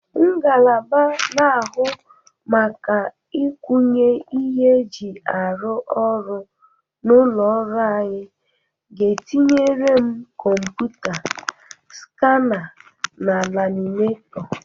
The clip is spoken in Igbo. Ngalaba na-ahụ maka ịkwanye ihe e ji arụ ọrụ n'ụlọ ọrụ anyị ga-etinyere m kọmpụta, skana na laminetọ